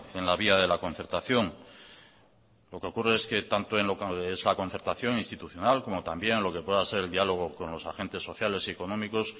en la vía de la concertación lo que ocurre es que tanto en lo que es la concertación institucional como también lo que pueda ser el diálogo con los agentes sociales y económicos